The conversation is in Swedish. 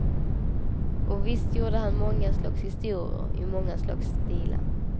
Och visst gjorde han många slags historier i många slags stilar.